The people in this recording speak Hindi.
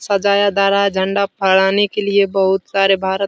सजाया जा रहा है झंडा फहराने के लिए बहुत सारे भारत --